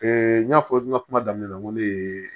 n y'a fɔ n ka kuma daminɛ na n ko ne ye